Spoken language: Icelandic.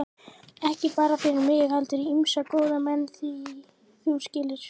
Ekki bara fyrir mig heldur ýmsa góða menn, þú skilur.